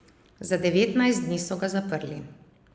Za devetnajst dni so ga zaprli.